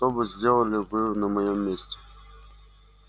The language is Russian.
что бы сделали вы на моём месте